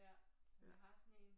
Ja men jeg har sådan en